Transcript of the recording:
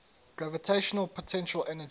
gravitational potential energy